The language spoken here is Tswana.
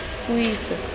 puiso